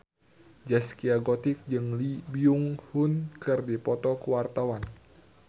Zaskia Gotik jeung Lee Byung Hun keur dipoto ku wartawan